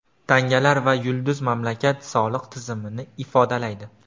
Tangalar va yulduz mamlakat soliq tizimini ifodalaydi.